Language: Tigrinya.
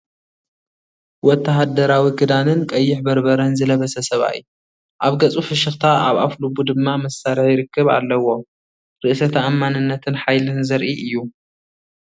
ወተሃደራዊ ክዳንን ቀይሕ በርበረን ዝለበሰ ሰብኣይ። ኣብ ገጹ ፍሽኽታ ኣብ ኣፍልቡ ድማ መሳርሒ ርክብ ኣለዎ። ርእሰ ተኣማንነትን ሓይልን ዘርኢ እዩ።